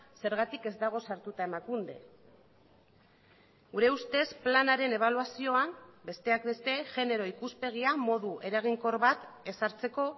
zergatik ez dago sartuta emakunde gure ustez planaren ebaluazioan besteak beste genero ikuspegia modu eraginkor bat ezartzeko